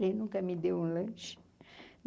Ele nunca me deu um lanche.